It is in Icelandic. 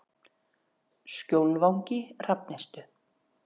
Skjólvangi Hrafnistu